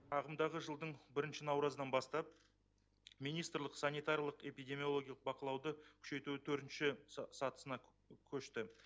ағымдағы жылдың бірінші науразынан бастап министрлік санитарлық эпидемиологиялық бақылауды күшейтудің төртінші сатысына көшті